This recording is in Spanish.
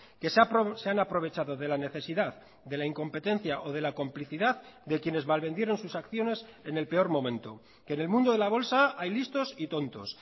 que se han aprovechado de la necesidad de la incompetencia o de la complicidad de quienes malvendieron sus acciones en el peor momento que en el mundo de la bolsa hay listos y tontos